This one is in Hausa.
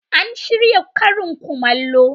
An shirya karin kumallo.